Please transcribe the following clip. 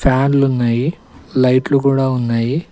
ఫ్యాన్లు ఉన్నాయి లైట్ కూడా ఉన్నాయి.